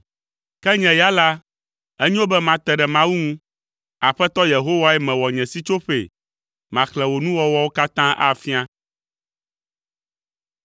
Ke nye ya la, enyo be mate ɖe Mawu ŋu. Aƒetɔ Yehowae mewɔ nye sitsoƒee, maxlẽ wò nuwɔwɔwo katã afia.